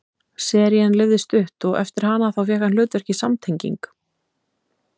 serían lifði stutt og eftir hana þá fékk hann hlutverk í samtenging